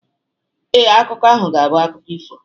Ee, akụkọ ahụ ga-abụ akụkọ ifo